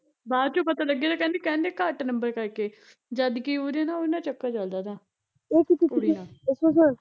ਬਾਦ ਚੋਂ ਪਤਾ ਲੱਗਿਆ ਤਾਂ ਕਹਿੰਦੀ ਕਹਿੰਦੇ ਘੱਟ ਨੰਬਰ ਕਰਕੇ ਜਦਕਿ ਉਹਦਾ ਨਾ ਉਹਦੇ ਨਾਲ ਚੱਕਰ ਚੱਲਦਾ ਤਾ ਕੁੜੀ ਨਾਲ਼